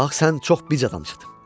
Bax, sən çox bic adamsan.